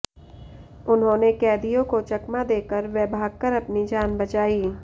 उन्होंने कैदियों को चकमा देकर व भागकर अपनी जान बचाई